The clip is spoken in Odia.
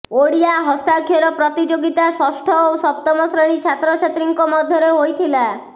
ଓଡ଼ିଆ ହସ୍ତାକ୍ଷର ପ୍ରତିଯୋଗିତା ଷଷ୍ଠ ଓ ସପ୍ତମ ଶ୍ରେଣୀ ଛାତ୍ରଛାତ୍ରୀଙ୍କ ମଧୢରେ ହୋଇଥିଲା